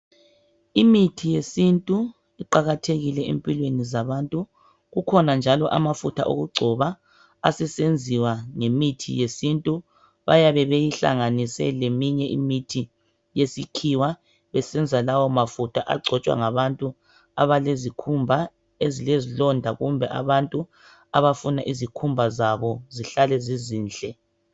Imithi yesintu iqakathekile empilweni zabantu. Kukhona njalo amafutha okugcoba asesenziwa ngemithi yesintu. Bayabe beyihlanganise leminye imithi yesikhiwa besenza lawomafutha agcotshwa ngabantu abalezikhumba ezilezilonda kumbe abantu abafuna izikhumba zabo zihlale zizinhle.